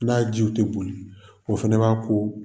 N'a jiw tɛ boli o fana b'a ko